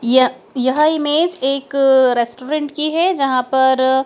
या यह इमेज़ एक रेस्टोरेंट की है जहां पर--